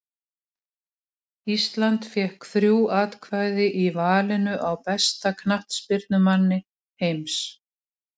Ísland fékk þrjú atkvæði í valinu á besta knattspyrnumanni heims.